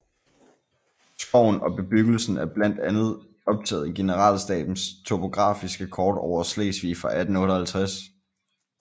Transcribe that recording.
Skoven og bebyggelsen er blandt andet optaget i generalstabens topografiske kort over Slesvig fra 1858